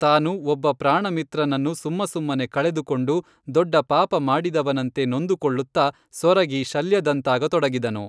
ತಾನು ಒಬ್ಬ ಪ್ರಾಣಮಿತ್ರನನ್ನು ಸುಮ್ಮಸುಮ್ಮನೆ ಕಳೆದುಕೊಂಡು ದೊಡ್ಡ ಪಾಪ ಮಾಡಿದವನಂತೆ ನೊಂದುಕೊಳ್ಳುತ್ತ ಸೊರಗಿ ಶಲ್ಯದಂತಾಗ ತೊಡಗಿದನು